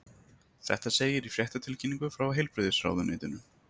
Þetta segir í fréttatilkynningu frá Heilbrigðisráðuneytinu